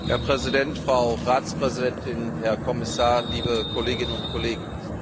Herr Präsident, Frau Ratspräsidentin, Herr Kommissar, liebe Kolleginnen und Kollegen!